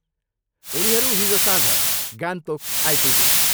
उनीहरू हिजो साँझ गान्तोक आइपुगे।